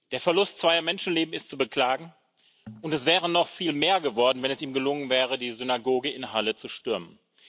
Der Verlust zweier Menschenleben ist zu beklagen, und es wären noch viel mehr geworden, wenn es ihm gelungen wäre, die Synagoge in Halle zu stürmen.